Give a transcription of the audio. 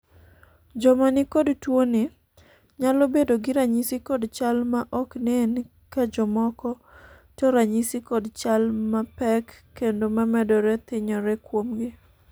joma nikod tuoni nyalo bedo gi ranyisi kod chal ma ok nen ka jomoko to ranyisi kod chal ma pek kendo mamedore thironye kuomgi